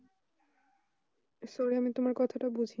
sorry আমি তোমার কথাটা বুঝ